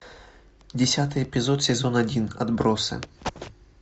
десятый эпизод сезон один отбросы